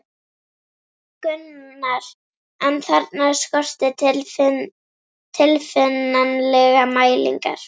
Gunnar, en þarna skorti tilfinnanlega mælingar.